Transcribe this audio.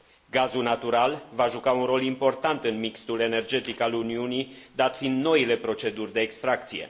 Gazul natural va juca un rol important în mixul energetic al Uniunii, dat fiind noile proceduri de extracție.